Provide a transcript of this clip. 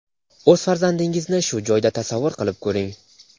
o‘z farzandingizni shu joyda tasavvur qilib ko‘ring.